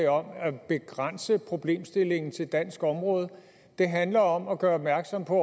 om at begrænse problemstillingen til dansk område det handler om at gøre opmærksom på